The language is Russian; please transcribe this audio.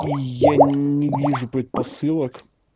и я не вижу предпосылок